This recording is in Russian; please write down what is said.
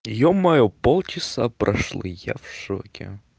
ё-моё полчаса прошло я в шоке